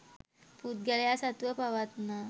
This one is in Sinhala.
පුද්ගලයා සතුව පවත්නා